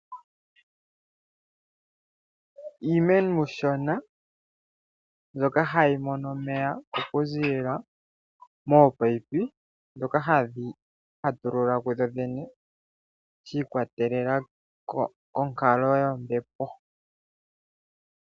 Iimeno iishona mbyoka hayi mono omeya okuziilila mominino ndhoka hadhi ipatulula dhodhene shi ikwatelela konkalo yombepo.